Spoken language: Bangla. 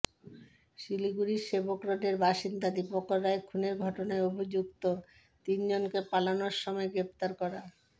শিলিগুড়ির সেবক রোডের বাসিন্দা দীপঙ্কর রায় খুনের ঘটনায় অভিযুক্ত তিনজনকে পালানোর সময় গ্রেফতার করা